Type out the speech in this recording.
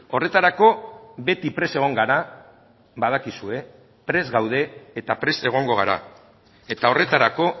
horretarako beti prest egon gara badakizue prest gaude eta prest egongo gara eta horretarako